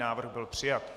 Návrh byl přijat.